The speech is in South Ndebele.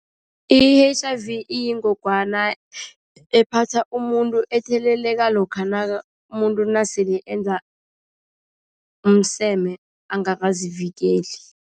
I-H_I_V iyingogwana ephatha umuntu, etheleleko lokha umuntu nasele enza umseme angakazivikeli.